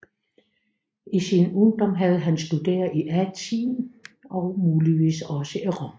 I sin ungdom havde han studeret i Athen og muligvis også i Rom